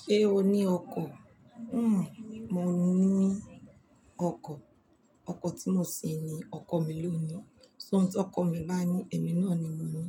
Ṣé o ní ọkọ̀? Hmm, mo ní ọkọ̀? Ọkọ̀ tí mo sí ni ọkọ̀ mi lónií So, tí ọkọ mi bá ní èmi náà ni mo mú.